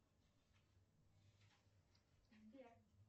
сбер